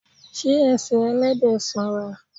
Ṣé ẹsẹ̀ Ẹlẹ́dẹ̀ sanra?